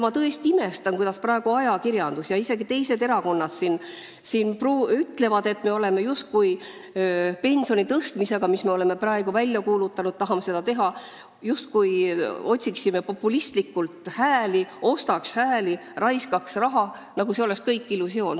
Ma tõesti imestan, kuidas praegu ütleb ajakirjandus ja isegi teised erakonnad ütlevad, et me pensionide tõstmisega, mille me oleme välja kuulutanud, justkui ostaksime populistlikult hääli ja raiskaksime raha, nagu see kõik oleks illusioon.